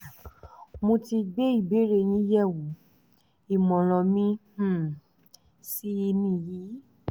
mo ti gbé ìbéèrè yín yẹ̀wò ìmọ̀ràn mi um sì nìyí